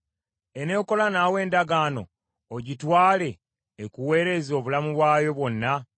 Eneekola naawe endagaano ogitwale ekuweereze obulamu bwayo bwonna?